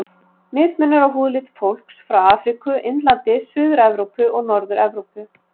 Mismunur á húðlit fólks frá Afríku, Indlandi, Suður-Evrópu og Norður-Evrópu.